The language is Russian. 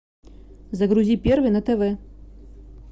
загрузи первый на тв